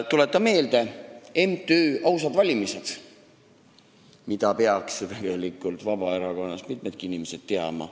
Tuletan meelde MTÜ-d Ausad Valimised, mida peaks tegelikult mitmedki Vabaerakonna inimesed teadma.